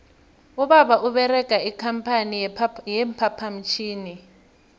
ubaba uberega ikampani ye phaphamtjhini